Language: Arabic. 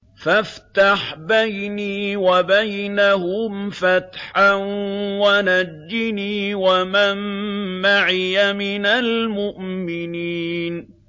فَافْتَحْ بَيْنِي وَبَيْنَهُمْ فَتْحًا وَنَجِّنِي وَمَن مَّعِيَ مِنَ الْمُؤْمِنِينَ